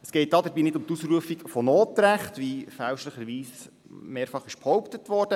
Es geht dabei nicht um die Ausrufung von Notrecht, wie fälschlicherweise mehrfach behauptet wurde.